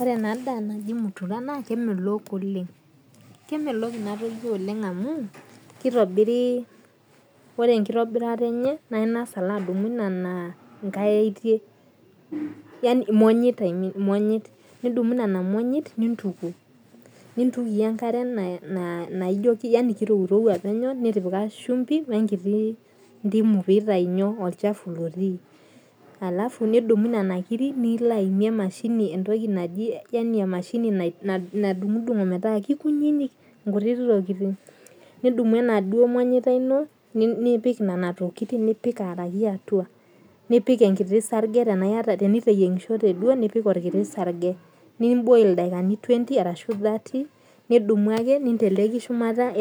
Ore enadaa naji mutura na kemelok oleng kemelok inatoki oleng amu kitobiri ore enkitobirata enye na ingasa alo adumu nona monyit nidumu nituku nintukie enkare naijo kirowrowua penyo nitipika shumpi wenkiti ndimu pitau olchafu otii alafu nidumu nona kirik nilo aimie emashini nadungdung metaa kekuninik nkutitik tokitin nidumu enaduo manyita ino nipik aaraki atua nipik enkiti sarge atashu ninteleki shumata